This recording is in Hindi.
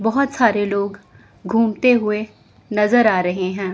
बहुत सारे लोग घूमते हुए नजर आ रहे हैं।